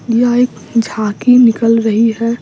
यह एक झांकी निकल रही है।